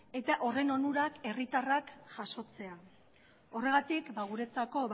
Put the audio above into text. eta horren onurak herritarrak jasotzea horregatik guretzako